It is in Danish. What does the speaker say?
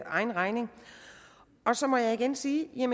egen regning så må jeg igen sige at